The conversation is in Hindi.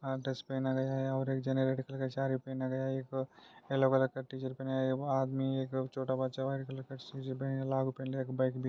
यहाँ येल्लो कलर का टी शर्ट पहना है वो आदमी एक छोटा बच्चा व्हाइट कलर का शूज पहना है लाल कलर का एक बैग --